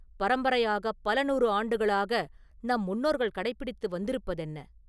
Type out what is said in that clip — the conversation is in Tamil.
பரம்பரையாகப் பல நூறு ஆண்டுகளாக ‘நம் முன்னோர்கள் கடைப்பிடித்து வந்திருப்பதென்ன?